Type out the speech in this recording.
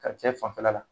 Ka cɛ fanfɛla la